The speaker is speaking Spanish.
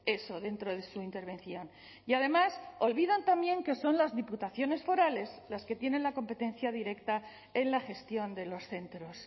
eso dentro de su intervención y además olvidan también que son las diputaciones forales las que tienen la competencia directa en la gestión de los centros